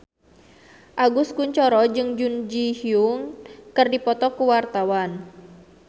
Agus Kuncoro jeung Jun Ji Hyun keur dipoto ku wartawan